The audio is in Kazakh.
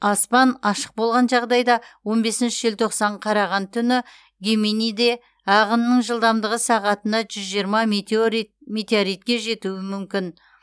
аспан ашық болған жағдайда он бесінші желтоқсан қараған түні геминиде ағынның жылдамдығы сағатына жүз жиырма метеоритке жетуі мүмкін